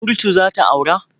Kurtu za ta aura?